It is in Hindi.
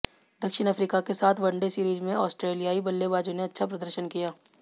दक्षिण अफ्रीका के साथ वनडे सीरीज में ऑस्ट्रेलियाई बल्लेबाजों ने अच्छा प्रदशर्न किया